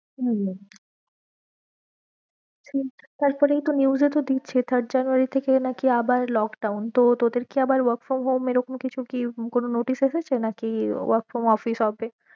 হম শুনছি তারপরেই তো news এ তো দিচ্ছে third january থেকেই নাকি আবার lockdown তো তোদের কি আবার work from home এরকম কিছু কি কোনো notice এসেছে নাকি work from office হবে?